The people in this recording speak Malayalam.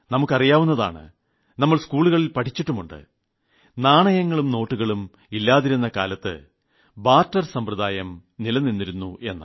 നമുക്ക് അറിയാവുന്നതാണ് നമ്മൾ സ്കൂളിൽ പഠിച്ചിട്ടുമുണ്ട് നാണയങ്ങളും നോട്ടുകളും ഇല്ലാതിരുന്ന കാലത്ത് ബാർട്ടർ സമ്പ്രദായം നിലനിന്നിരുന്നുവെന്ന്